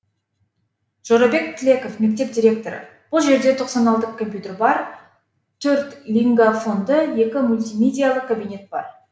жорабек тілеков мектеп директоры бұл жерде тоқсан алты компьютер бар төрт лингафонды екі мультимедиялық кабинет бар